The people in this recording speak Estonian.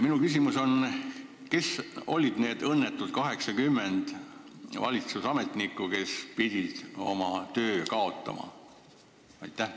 Minu küsimus on: kes olid need õnnetud 80 valitsusametnikku, kes pidid oma töö kaotama?